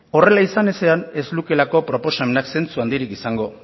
horrela izan ezean ez lukeelako proposamenak zintsurik handirik izango